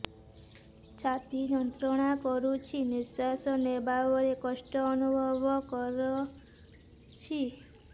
ଛାତି ଯନ୍ତ୍ରଣା କରୁଛି ନିଶ୍ୱାସ ନେବାରେ କଷ୍ଟ ଅନୁଭବ କରୁଛି